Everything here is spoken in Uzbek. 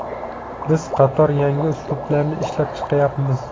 Biz qator yangi uslublarni ishlab chiqyapmiz.